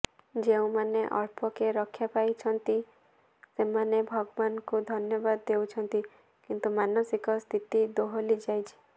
ଯେଉଁମାନେ ଅଳ୍ପକେ ରକ୍ଷା ପାଇଯାଇଛନ୍ତି ସେମାନେ ଭଗବାନଙ୍କୁ ଧନ୍ୟବାଦ ଦେଉଛନ୍ତି କିନ୍ତୁ ମାନସିକ ସ୍ଥିତି ଦୋହଲିଯାଇଛି